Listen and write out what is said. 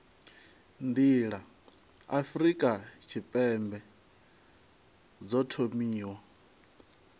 nḓila afurika tshipembe dzo thomiwa